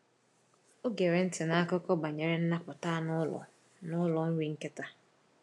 Ọ gera ntị n’akụkọ banyere nnapụta anụ ụlọ n’ụlọ nri nkịta.